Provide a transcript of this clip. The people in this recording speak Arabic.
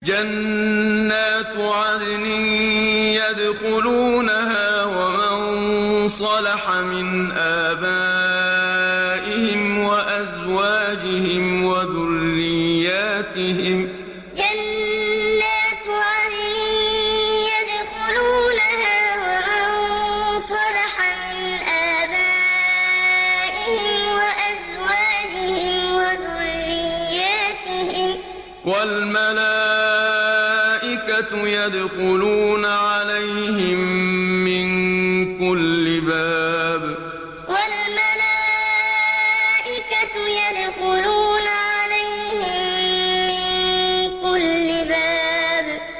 جَنَّاتُ عَدْنٍ يَدْخُلُونَهَا وَمَن صَلَحَ مِنْ آبَائِهِمْ وَأَزْوَاجِهِمْ وَذُرِّيَّاتِهِمْ ۖ وَالْمَلَائِكَةُ يَدْخُلُونَ عَلَيْهِم مِّن كُلِّ بَابٍ جَنَّاتُ عَدْنٍ يَدْخُلُونَهَا وَمَن صَلَحَ مِنْ آبَائِهِمْ وَأَزْوَاجِهِمْ وَذُرِّيَّاتِهِمْ ۖ وَالْمَلَائِكَةُ يَدْخُلُونَ عَلَيْهِم مِّن كُلِّ بَابٍ